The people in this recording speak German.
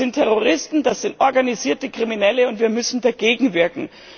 Das sind Terroristen, das sind organisierte Kriminelle, und wir müssen dagegenwirken.